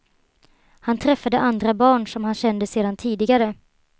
Han träffade andra barn som han kände sedan tidigare.